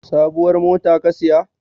Sabuwar mota ka siya?